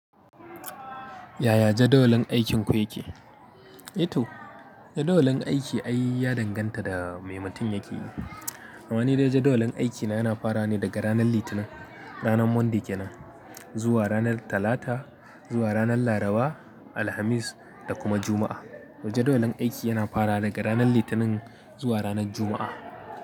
Yaya jadawalin aikinku yake? Ito jadawalin aiki ai ya danganta da maimutun yake yi. Amma ni dai jadawalin aikina yana fara ne daga ranar Litinin, ranar Monday kenan, zuwa ranar Talata, zuwa ranar Laraba, Alhamis da kuma Juma'a. Jadawalin aiki yana fara daga ranar Litinin zuwa ranar Juma'a.